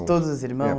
De todos os irmãos? É